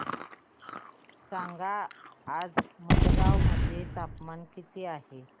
सांगा आज मडगाव मध्ये तापमान किती आहे